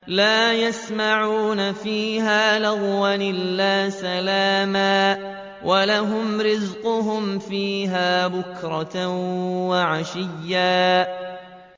لَّا يَسْمَعُونَ فِيهَا لَغْوًا إِلَّا سَلَامًا ۖ وَلَهُمْ رِزْقُهُمْ فِيهَا بُكْرَةً وَعَشِيًّا